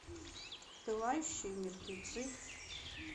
пылающие мертвецы